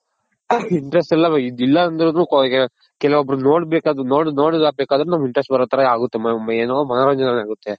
interest ಇಲ್ಲ ಅಂದ್ರುನು ಕೆಲ್ವೊಬ್ರನ್ ನೋಡ್ಬೇಕು ಅದನ್ನ ನೋಡಿದ ಬೇಕಾದ್ರೂ ನಮ್ಗ್ interest ಬರೋ ತರ ಆಗುತ್ತೆ ಏನೋ ಮನೋರಂಜನೆ ಆಗುತ್ತೆ.